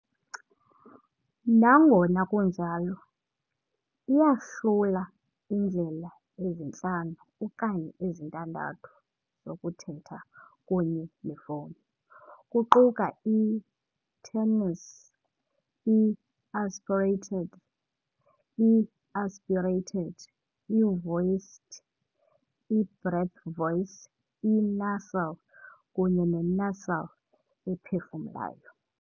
Nangona kunjalo, iyahlula iindlela ezintlanu okanye ezintandathu zokuthetha kunye nefowuni, kuquka i- tenuis , i- aspirated , i-aspirated, i-voiceed, i-breath voice, i-nasal, kunye ne-nasal ephefumulayo.